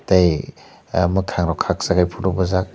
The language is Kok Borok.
tei ah mokang rok kaksa photo bojakh.